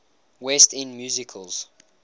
west end musicals